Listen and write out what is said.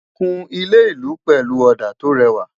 kún ilé ìlú pẹlú òdà to réwà